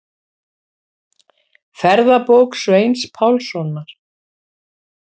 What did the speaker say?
Ferðabók Sveins Pálssonar.